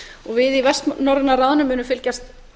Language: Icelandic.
og við í vestnorræna ráðinu munum fylgjast